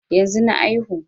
Yanzu na aihu